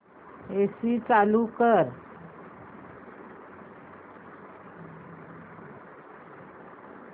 AC चालू कर